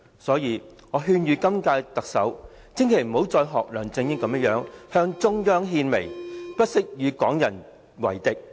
所以，我勸諭今屆特首，千萬不要再像梁振英般向中央獻媚，不惜與港人為敵。